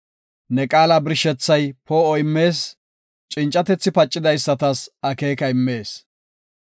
Ne qaala birshethay poo7o immees; cincatethi pacidaysatas akeeka immees.